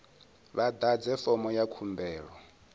vha ḓadze fomo ya khumbelo